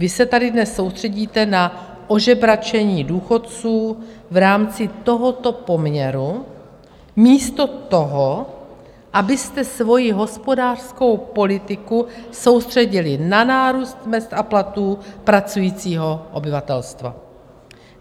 Vy se tady dnes soustředíte na ožebračení důchodců v rámci tohoto poměru místo toho, abyste svoji hospodářskou politiku soustředili na nárůst mezd a platů pracujícího obyvatelstva.